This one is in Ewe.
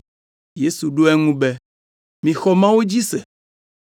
Yesu ɖo eŋu be, “Mixɔ Mawu dzi se.